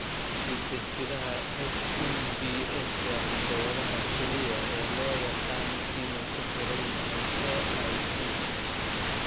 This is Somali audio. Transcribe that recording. Hidde-sidaha HMBS waa hidda-wadaha kaliya ee loo yaqaan inuu ku xidhan yahay AIP.